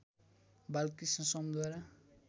Balkrishna समद्वारा